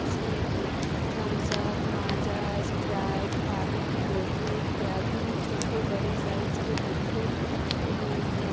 जिसमें की Thums Up Maaza Sprite पानी की बोतले इत्यादि छोटे बड़े साइज के बोतलों में रखी हुई हैं।